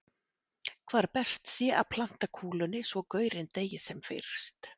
Hvar best sé að planta kúlunni svo gaurinn deyi sem fyrst.